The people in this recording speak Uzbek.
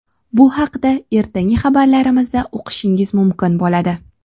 Bu haqda ertangi xabarlarimizda o‘qishingiz mumkin bo‘ladi.